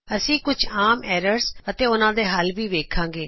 ਅਸੀ ਕੁਝ ਆਮ ਐਰਰਜ਼ ਅਤੇ ਉਹਨਾ ਦੇ ਹੱਲ ਵੀ ਵੇਖਾਗੇ